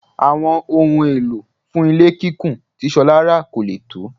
Àwọn ohun èlò fún ilé kíkùn tí Ṣọlá rà kò lè tó.